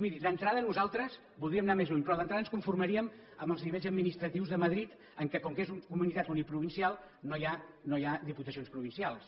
miri d’entrada nosaltres voldríem anar més lluny però d’entrada ens conformaríem amb els nivells administratius de madrid en què com que és comunitat uniprovincial no hi ha diputacions provincials